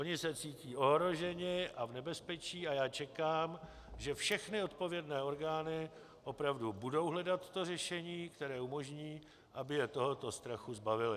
Oni se cítí ohroženi a v nebezpečí a já čekám, že všechny odpovědné orgány opravdu budou hledat to řešení, které umožní, aby je tohoto strachu zbavily.